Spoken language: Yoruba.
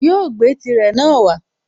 Yóò gbé tírè náà wá